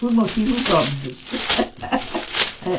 por motivos óbvios